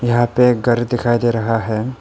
यहां पे एक घर दिखाई दे रहा है।